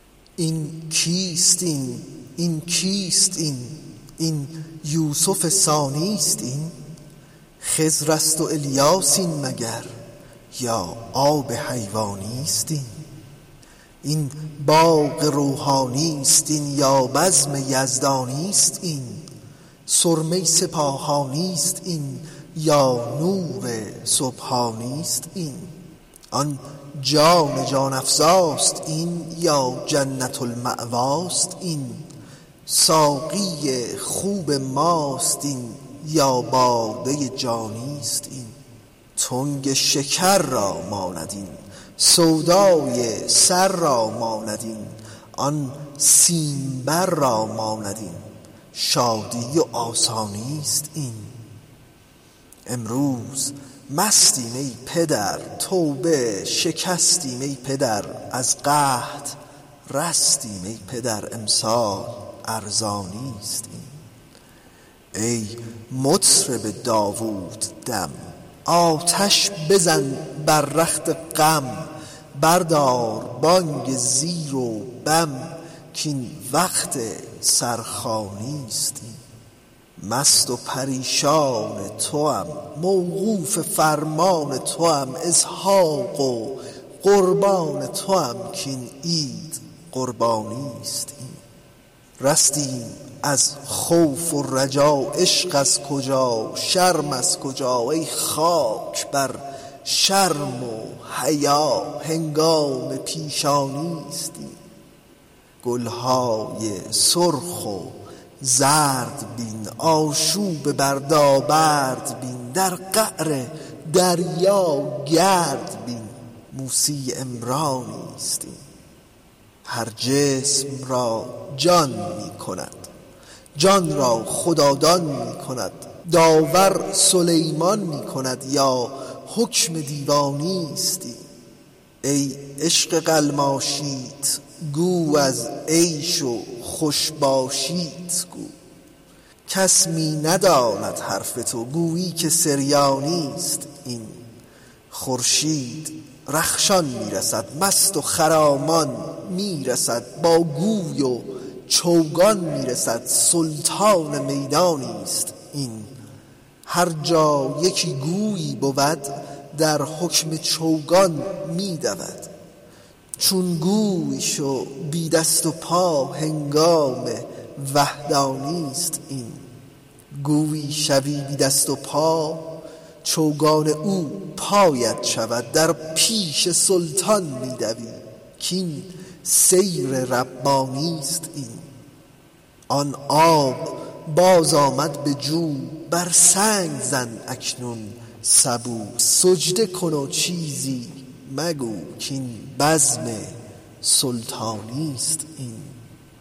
این کیست این این کیست این این یوسف ثانی است این خضر است و الیاس این مگر یا آب حیوانی است این این باغ روحانی است این یا بزم یزدانی است این سرمه سپاهانی است این یا نور سبحانی است این آن جان جان افزاست این یا جنت المأواست این ساقی خوب ماست این یا باده جانی است این تنگ شکر را ماند این سودای سر را ماند این آن سیمبر را ماند این شادی و آسانی است این امروز مستیم ای پدر توبه شکستیم ای پدر از قحط رستیم ای پدر امسال ارزانی است این ای مطرب داووددم آتش بزن در رخت غم بردار بانگ زیر و بم کاین وقت سرخوانی است این مست و پریشان توام موقوف فرمان توام اسحاق قربان توام این عید قربانی است این رستیم از خوف و رجا عشق از کجا شرم از کجا ای خاک بر شرم و حیا هنگام پیشانی است این گل های سرخ و زرد بین آشوب و بردابرد بین در قعر دریا گرد بین موسی عمرانی است این هر جسم را جان می کند جان را خدادان می کند داور سلیمان می کند یا حکم دیوانی است این ای عشق قلماشیت گو از عیش و خوش باشیت گو کس می نداند حرف تو گویی که سریانی است این خورشید رخشان می رسد مست و خرامان می رسد با گوی و چوگان می رسد سلطان میدانی است این هر جا یکی گویی بود در حکم چوگان می دود چون گوی شو بی دست و پا هنگام وحدانی است این گویی شوی بی دست و پا چوگان او پایت شود در پیش سلطان می دوی کاین سیر ربانی است این آن آب بازآمد به جو بر سنگ زن اکنون سبو سجده کن و چیزی مگو کاین بزم سلطانی است این